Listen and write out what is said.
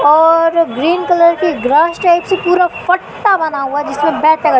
और green colour की grass type से पूरा फट्टा बना हुआ जिसमें बै--